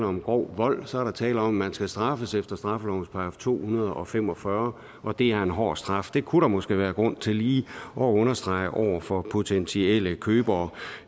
om grov vold og så er der tale om at man skal straffes efter straffelovens § to hundrede og fem og fyrre og det er en hård straf det kunne der måske være grund til lige at understrege over for potentielle købere